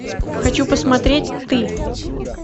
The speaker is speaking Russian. хочу посмотреть ты